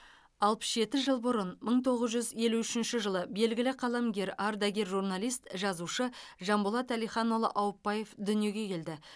алпыс жеті жыл бұрын мың тоғыз жүз елу үшінші жылы белгілі қаламгер ардагер журналист жазушы жанболат әлиханұлы аупбаев дүниеге келді